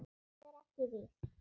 En það er ekki víst.